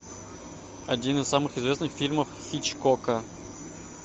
один из самых известных фильмов хичкока